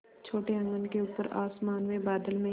छोटे आँगन के ऊपर आसमान में बादल में